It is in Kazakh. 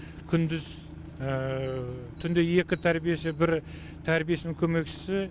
күндіз түнде екі тәрбиеші бір тәрбиешінің көмекшісі